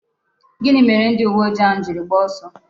Gini mere ndi uwe ojii ahu jiri gbaa oso?